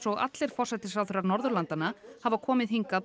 og allir forsætisráðherrar Norðurlandanna hafa komið hingað